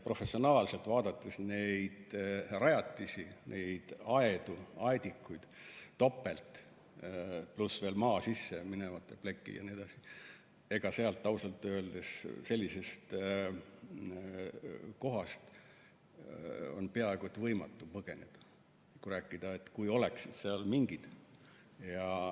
Professionaalselt vaadates neid rajatisi, neid aedu ja aedikuid, mida on topelt, pluss veel maa sisse minevad plekid jne, ma ütlen ausalt, et sellisest kohast on peaaegu võimatu põgeneda – rääkides sellest, kui oleksid seal mingid.